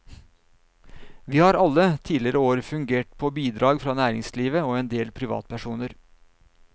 Vi har alle tidligere år fungert på bidrag fra næringslivet og en del privatpersoner.